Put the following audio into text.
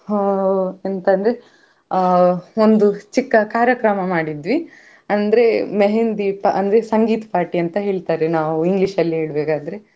ಎಂತ ಅಂದ್ರೆ ಅಹ್ ನಮ್ಮದು ಚಿಕ್ಕ ಕಾರ್ಯಕ್ರಮ ಮಾಡಿದ್ವಿ ಅಂದ್ರೆ मेहंदी संगीत party ಅಂತ ಹೇಳ್ತಾರೆ ನಾವು english ಅಲ್ಲಿ ಹೇಳ್ಬೇಕಾದ್ರೆ